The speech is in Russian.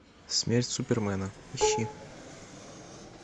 смерть супермена ищи